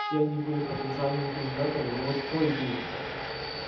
все они были потенциальными кандидатами но вот кто из них